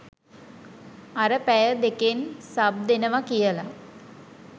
අර පැය දෙකෙන් සබ් දෙනව කියල